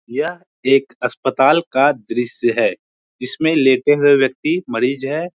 यह एक अस्पताल का दृश्य है जिसमें लेटे हुए व्यक्ति मरीज है।